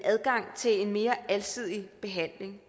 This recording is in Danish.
adgang til en mere alsidig behandling